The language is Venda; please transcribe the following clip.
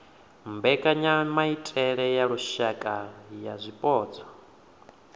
mbekanyamaitele ya lushaka ya zwipotso